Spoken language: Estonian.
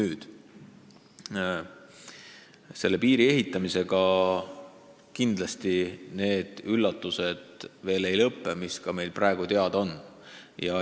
Ega üllatused piiri ehitamisel sellega kindlasti veel lõppenud ei ole.